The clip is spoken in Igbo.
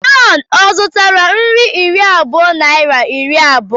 John zụtara nri iri abụọ naịra iri abụọ?